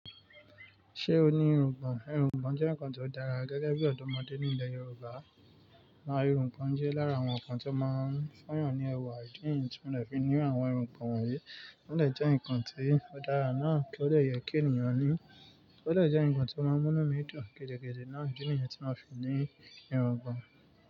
Ṣé o ní irungbọ̀n? Irungbọ̀n jẹ́ nǹkan tó dára gẹ́gẹ́ bí ọ̀dọ́mọdé ní ilẹ̀ Yorùbá. Na irungbọ̀n jẹ́ lára àwọn ǹkan tí ó máa ń fu eeyàn ní ẹwà ìdí niyún tí mo lè fi ní àwọn irungbọ̀n wọ̀nyí. Wọ́n dẹ̀ jẹ́ ǹkan tó dára náà, kí ó dẹ yẹ kí ènìyàn ní. Ó dẹ jẹ́ ǹkan tó máa ń múnú mi dùn gidigidi náà. Idí ni yẹn tí mo fi ní irungbọ̀n.